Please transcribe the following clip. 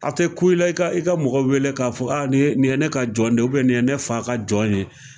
A tɛ ku i la i ka i ka mɔgɔ wele k'a fɔ aa nin nin ye ne ka jɔn de ye, nin ye ne fa ka jɔn ye.